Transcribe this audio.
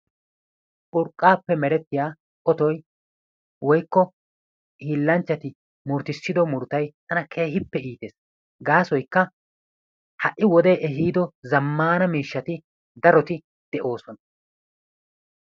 Urqqaappe merettiya ootoy woykko hiillanchchati murutissiddo murutay tana keehippe iittees, gaasoykka ha'i wode ehiiddo zammana miishshati daroti de'oosona.